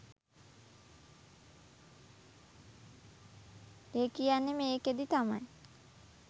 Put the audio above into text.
එකියන්නේ මේකෙදි තමයි